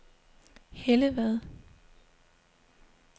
Hellevad